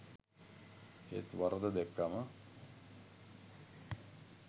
ඒත් වරද දැක්කම